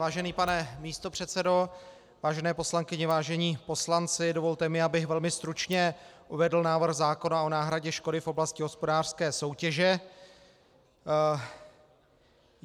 Vážený pane místopředsedo, vážené poslankyně, vážení poslanci, dovolte mi, abych velmi stručně uvedl návrh zákona o náhradě škody v oblasti hospodářské soutěže.